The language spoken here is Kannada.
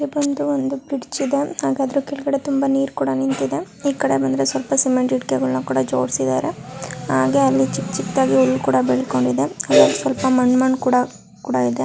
ಇಲಿ ಒಂದು ಬ್ರಿಜ್ ಇದೆ. ಹಾಗಾದ್ರೆ ಕೆಳಗಡೆ ತುಂಬಾ ನೀರ್ ಕೂಡ ನಿಂತಿದೆ. ಇಕಡೆ ಬಂದರೆ ಸ್ವಲ್ಪ ಸಿಮೆಂಟ್ ಇಟಿಕೆಗಳನ ಜೋಡಿಸಿದರೆ ಹಾಗೆ ಅಲಿ ಚಿಕ್ಕ ಚಿಕ್ಕ ಹುಲ್ಲು ಕೂಡ ಬೆಳ್ಕೊಂಡಿದೆ. ಸ್ವಲ್ಪ ಮಂನ್ ಮಣ್ಣ್ ಕೂಡ-ಕೂಡ ಇದೆ